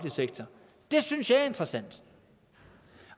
sektor det synes jeg er interessant